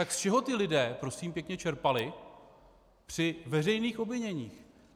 Tak z čeho ti lidé prosím pěkně čerpali při veřejných obviněních?